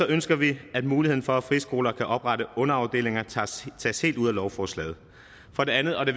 ønsker vi at muligheden for at friskoler kan oprette underafdelinger tages helt ud af lovforslaget for det andet og det